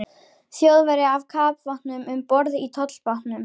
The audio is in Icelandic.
Þjóðverja af kafbátnum um borð í tollbátnum.